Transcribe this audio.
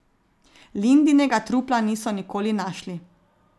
Lindinega trupla niso nikoli našli.